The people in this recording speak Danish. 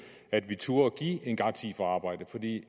at vi turde give en garanti for arbejde